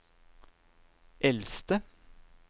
eldste